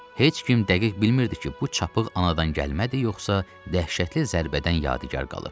Heç kim dəqiq bilmirdi ki, bu çapıq anadan gəlmədi, yoxsa dəhşətli zərbədən yadigar qalıb.